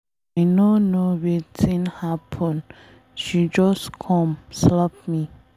I no know wetin happen, she just come slap me.